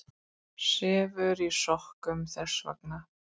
Sefur í sokkunum þess vegna.